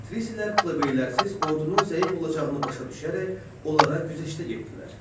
Patrisilər plebeylərsiz ordunun zəif olacağını başa düşərək onlara güzəştə getdilər.